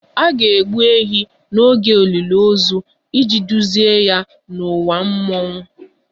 A ga-egbu ehi n'oge olili ozu iji duzie ya n'ụwa mmụọ